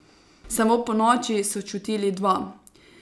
Samo ponoči so čutili dva.